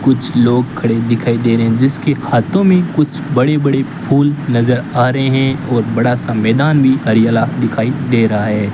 कुछ लोग खड़े दिखाई दे रहे जिसके हाथों में कुछ बड़े बड़े फूल नजर आ रहे है और बड़ा सा मैदान भी हरियाला दिखाई दे रहा है।